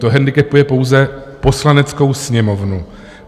To hendikepuje pouze Poslaneckou sněmovnu.